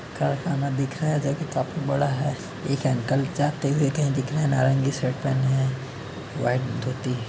कारखाना दिख रहा है जोकि काफी बड़ा है। एक अंकल जाते हुए कही दिख रहे हैं। नारंगी शर्ट पहने हुए हैं। व्हाइट धोती --